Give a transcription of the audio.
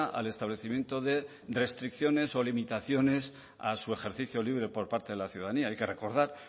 al establecimiento de restricciones o limitaciones a su ejercicio libre por parte de la ciudadanía hay que recordar